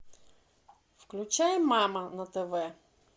включай мама на тв